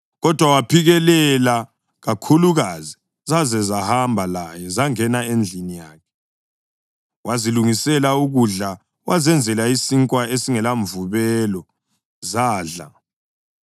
Kodwa waphikelela kakhulukazi zaze zahamba laye zangena endlini yakhe. Wazilungisela ukudla, wazenzela isinkwa esingelamvubelo, zadla.